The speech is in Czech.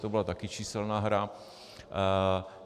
To byla také číselná hra.